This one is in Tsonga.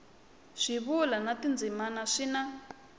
swivulwa na tindzimana swi na